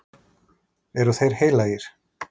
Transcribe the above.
Eru þeir heilagir?